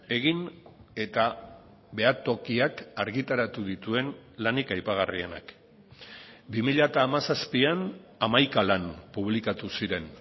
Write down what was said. egin eta behatokiak argitaratu dituen lanik aipagarrienak bi mila hamazazpian hamaika lan publikatu ziren